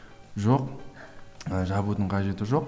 жоқ ы жабудың қажеті жоқ